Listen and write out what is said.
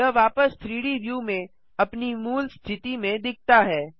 यह वापस 3डी व्यू में अपनी मूल स्थिति में दिखता है